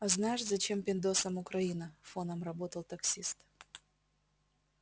а знаешь зачем пиндосам украина фоном работал таксист